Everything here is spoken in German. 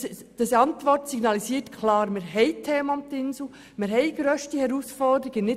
Denn die Antwort signalisiert klar, dass Themen um die Insel Gruppe AG existieren und dass grösste Herausforderungen bestehen;